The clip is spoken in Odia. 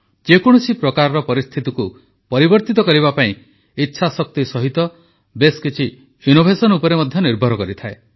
ଯେକୌଣସି ପ୍ରକାର ପରିସ୍ଥିତିକୁ ପରିବର୍ତ୍ତିତ କରିବା ପାଇଁ ଇଚ୍ଛାଶକ୍ତି ସହିତ ବେଶ୍ କିଛି ନବୋନ୍ମେଷ ଉପରେ ମଧ୍ୟ ନିର୍ଭର କରେ